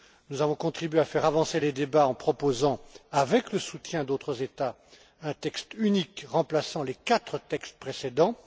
Nous avons contribué à faire avancer les débats en proposant, avec le soutien d'autres États, un texte unique remplaçant les quatre textes précédents.